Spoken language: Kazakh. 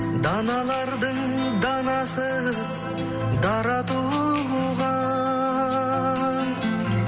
даналардың данасы дара туған